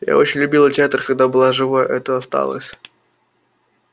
я очень любила театр когда была живой это осталось